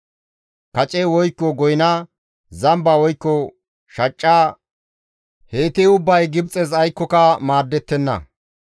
Kace woykko goyna, zamba woykko shacca heyti ubbay Gibxes aykkoka maadettenna.